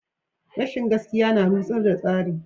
Rashin gaskiya na rushar da tsarin.